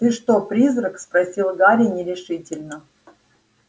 ты что призрак спросил гарри нерешительно